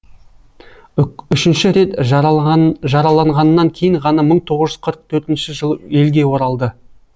үшінші рет жараланғаннан кейін ғана мың тоғыз жүз қырық төртінші жылы елге оралды